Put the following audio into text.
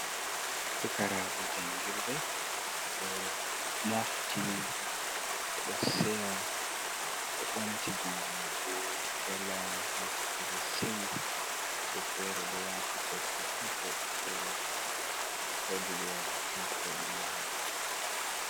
Pukarabe jangirde, ɓe do mofti, ɓe do seya, ɓe ɗo ɓamti jungu mambe ɓeɗo jala saya, woɓɓe fere do wati fesin kab wuɓɓe fere wodi be wa tai ko dume bo.